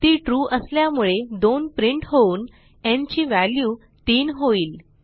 ती ट्रू असल्यामुळे 2 प्रिंट होऊन न् ची व्हॅल्यू 3 होईल